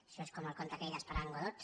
això és com el conte aquell d’esperant godot